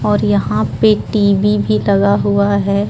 और यहाँ पे टी.वी भी लगा हुआ है।